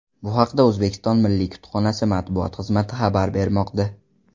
Bu haqda O‘zbekiston Milliy kutubxonasi matbuot xizmati xabar bermoqda .